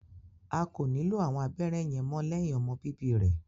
A ko nilo awọn abẹrẹ yẹn mọ lẹhin ọmọ bíbí rẹ